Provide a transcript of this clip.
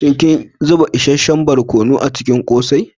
Shin kin zuba isasshen barkono a cikin kose?